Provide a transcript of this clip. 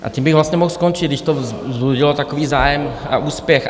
A tím bych vlastně mohl skončit, když to vzbudilo takový zájem a úspěch.